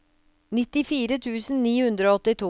nittifire tusen ni hundre og åttito